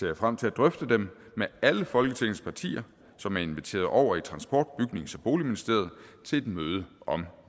jeg frem til at drøfte dem med alle folketingets partier som er inviteret over i transport bygnings og boligministeriet til et møde om